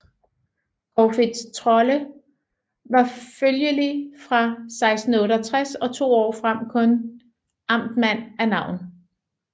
Corfitz Trolle var følgelig fra 1668 og to år frem kun amtmand af navn